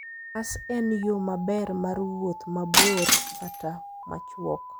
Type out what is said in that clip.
Bas en yo maber mar wuoth mabor kata machwok.